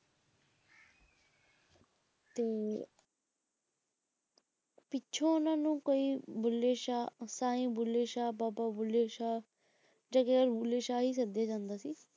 ਤੇ ਪਿੱਛੋਂ ਉਹਨਾਂ ਨੂੰ ਕੋਈ ਬੁੱਲੇ ਸ਼ਾਹ ਸਾਈਂ ਬੁੱਲੇ ਸ਼ਾਹ ਬਾਬਾ ਬੁੱਲੇ ਸ਼ਾਹ ਬੁੱਲੇ ਸ਼ਾਹ ਹੀ ਕਰਦਾ ਜਾਂਦਾ ਸੀ,